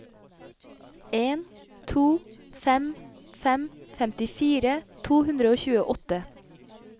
en to fem fem femtifire to hundre og tjueåtte